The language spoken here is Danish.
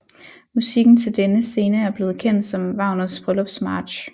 Musikken til denne scene er blevet kendt som Wagners bryllupsmarch